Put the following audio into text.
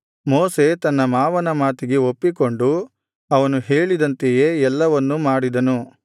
ಮೋಶೆ ತನ್ನ ಮಾವನ ಮಾತಿಗೆ ಒಪ್ಪಿಕೊಂಡು ಅವನು ಹೇಳಿದಂತೆಯೇ ಎಲ್ಲವನ್ನು ಮಾಡಿದನು